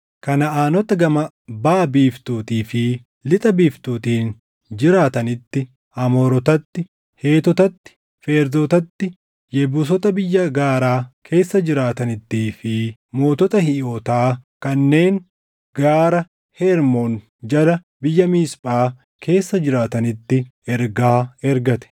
Kanaʼaanota gama baʼa biiftuutii fi lixa biiftuutiin jiraatanitti, Amoorotatti, Heetotatti, Feerzotaatti Yebuusota biyya gaaraa keessa jiraatanittii fi mootota Hiiwotaa kanneen Gaara Hermoon jala biyya Miisphaa keessa jiraatanitti ergaa ergate.